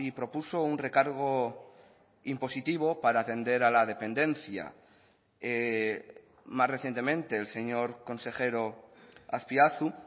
propuso un recargo impositivo para atender a la dependencia más recientemente el señor consejero azpiazu